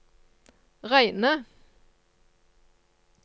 reine